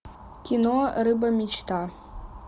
кино рыба мечта